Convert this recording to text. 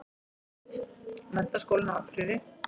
Mynd: Menntaskólinn á Akureyri.